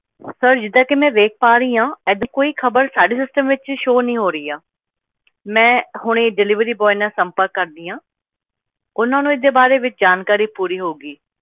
Sir ਜਿੱਦਾਂ ਕਿ ਮੈਂ ਵੇਖ ਪਾ ਰਹੀ ਆਂ ਇਹ ਜਿਹੀ ਕੋਈ ਖ਼ਬਰ ਸਾਡੇ system ਵਿੱਚ show ਨਹੀਂ ਹੋ ਰਹੀ ਆ ਮੈਂ ਹੁਣੇ ਹੀ delivery boy ਨਾਲ ਸੰਪਰਕ ਕਰਦੀ ਆਂ, ਉਹਨਾਂ ਨੂੰ ਇਸ ਦੇ ਬਾਰੇ ਵਿਚ ਜਾਣਕਾਰੀ ਪੂਰੀ ਹੋਊਗੀ।